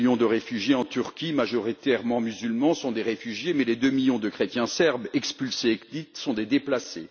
Les deux millions de réfugiés en Turquie, majoritairement musulmans, sont des réfugiés, mais les deux millions de chrétiens serbes qui ont été expulsés sont des déplacés.